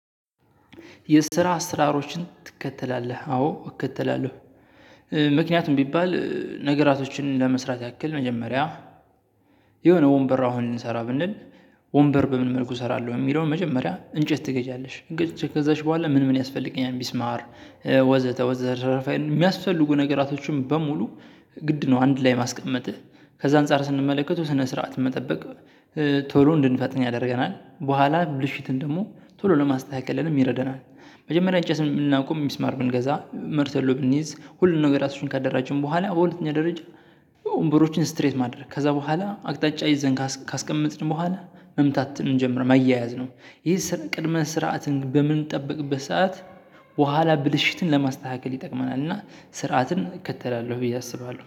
የስራ አሰራሮችን ትከተላለህ አዎ እከተላለሁ። ምክንያቱም ቢባል ነገራቶችን ለመስራት ያክል መጀመሪያ የሆነ ወንበር አሁን እንሰራ ብንል ወንበር በምን መልኩ እሰራለሁ። የሚለውን መጀመሪያ እንጨት ትገዣለሽ? ከዛች በኋላ ምን ምን ያስፈልገኛል? ሚስማር ወዘተ ወዘተተርፈን የሚያስፈልጉ ነገራቶችን በሙሉ ግድ ነው። አንድ ላይ ማስቀመጥህ ከዛ አንፃር ስንመለከተው ስነ ስርዓት መጠበቅ ቶሎ እንድንፈጥን ያደርገናል። በኋላ ያሉትን ደግሞ ቶሎ ለማስተካከልም ይረዳናል። መጀመሪያ እንጨት ለማቆም ሚስማር ብንገዛ መርሰሎ ብንይዝ ሁሉንም ነገራቶችን ካደራጀን በኋላ ሁለተኛ ደረጃ። ወንበሮችን ስትሬት ማድረግ ከዛ በኋላ አቅጣጫ ይዘን ካስቀመጥን በኋላ መምታት እንጀምራለን። ማያያዝ ነው። ይሄ ስራ ቅድመ ስርዓትን በምንጠብቅበት ሰዓት። በኋላ ብልሽትን ለማስተካከል ይጠቅመናል። እና ስርዓትን እከተላለሁ ብዬ አስባለሁ